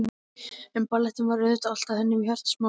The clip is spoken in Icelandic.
En ballettinn var auðvitað alltaf hennar hjartans mál.